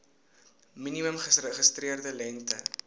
minimum geregistreerde lengte